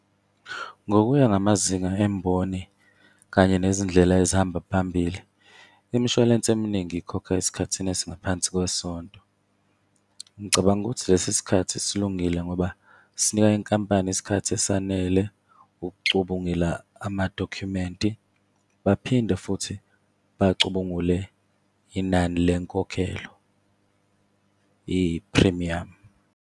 Ngokuya ngamazinga emboni kanye nezindlela ezihamba phambili, imishwalense eminingi ikhokha esikhathini esingaphansi kwesonto. Ngicabanga ukuthi lesi sikhathi silungile ngoba sinika inkampani isikhathi esanele ukucubungula amadokhumenti, baphinde futhi bacubungule inani lenkokhelo yephrimiyamu.